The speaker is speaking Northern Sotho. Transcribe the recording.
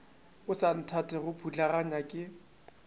o sa nthatego putlaganya ke